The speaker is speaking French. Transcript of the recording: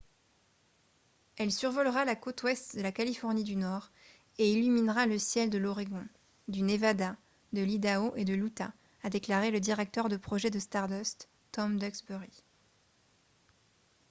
« elle survolera la côte ouest de la californie du nord et illuminera le ciel de l’oregon du nevada de l’idaho et de l’utah » a déclaré le directeur de projet de stardust tom duxbury